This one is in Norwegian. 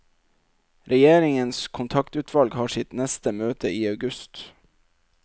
Regjeringens kontaktutvalg har sitt neste møte i august.